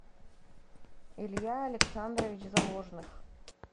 илья александрович заложных